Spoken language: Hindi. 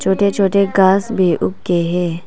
छोटे छोटे घास भी उके है।